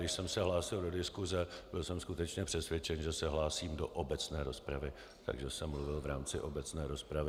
Když jsem se hlásil do diskuse, byl jsem skutečně přesvědčen, že se hlásím do obecné rozpravy, takže jsem mluvil v rámci obecné rozpravy.